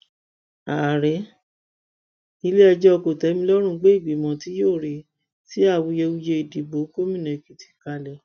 ààrẹ iléẹjọ kòtẹmílọrùn gbé ìgbìmọ tí yóò rí sí awuyewuye ìdìbò gómìnà èkìtì kalẹ